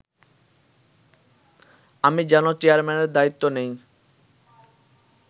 আমি যেন চেয়ারম্যানের দায়িত্ব নেই